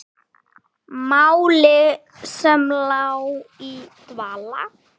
Máli sem lá í dvala!